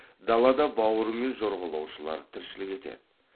далада бауырымен жорғалаушылар тіршілік етеді